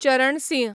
Charan Singh